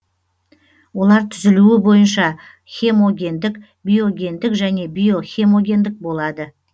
олар түзілуі бойынша хемогендік биогендік және биохемогендік болады